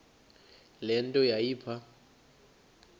le nto yayipha